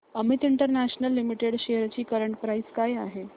Amit international limited shares ची current price काय आहे